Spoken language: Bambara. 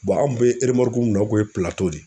an' kun be eremɔruku min na o kun ye Pilato de ye.